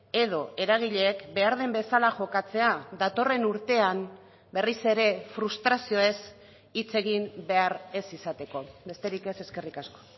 edo eragileek behar den bezala jokatzea datorren urtean berriz ere frustrazioez hitz egin behar ez izateko besterik ez eskerrik asko